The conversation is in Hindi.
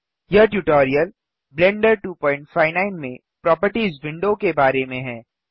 यह ट्यूटोरियल ब्लेंडर 259 में प्रोपर्टिज विंडो के बारे में है